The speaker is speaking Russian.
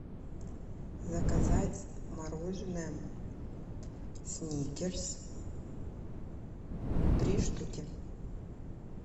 заказать мороженое сникерс три штуки